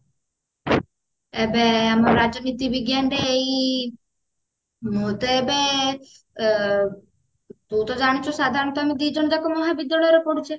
ଏବେ ଆମ ରାଜନୀତି ବିଜ୍ଞାନରେ ଏଇ ମୁଁ ତ ଏବେ ତୁ ତ ଜାଣିଛୁ ସାଧାରଣତଃ ଆମେ ଦି ଜଣଯାକ ମହାବିଦ୍ୟାଳୟରେ ପଢୁଛେ